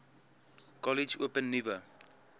kollege open nuwe